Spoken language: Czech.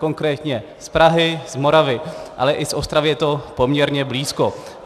Konkrétně z Prahy, z Moravy, ale i z Ostravy je to poměrně blízko.